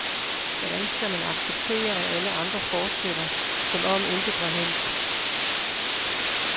Hvordan skal man acceptere, at alle andre fortsætter, som om intet var hændt.